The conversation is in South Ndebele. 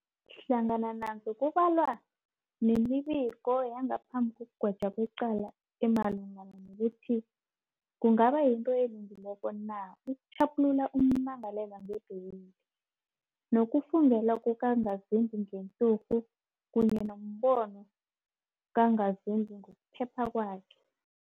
Hlangana nazo kubalwa nemibiko yangaphambi kokugwetjwa kwecala emalungana nokuthi kungaba yinto elungileko na ukutjhaphulula ummangalelwa ngebheyili, nokufungelwa kukangazimbi ngenturhu, kunye nombono kangazimbi ngokuphepha kwakhe.